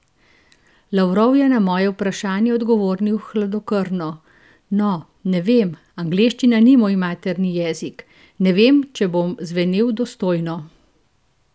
Lavrov je na vprašanje odgovoril hladnokrvno: "No, ne vem, angleščina ni moj materni jezik, ne vem, če bom zvenel dostojno.